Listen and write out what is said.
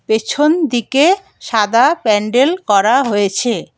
পেছনদিকে সাদা প্যান্ডেল করা হয়েছে।